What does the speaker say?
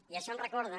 i això em recorda